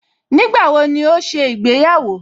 Nígbàwo ni ó ṣe ìgbéyàwó?